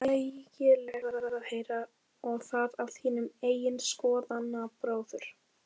Ægilegt er að heyra, og það af þínum eigin skoðanabróður?